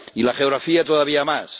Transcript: Y la geografía, todavía más.